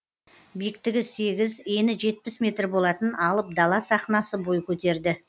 биіктігі сегіз ені жетпіс метр болатын алып дала сахнасы бой көтерді